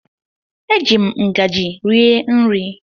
Eji m ngajị rie nri.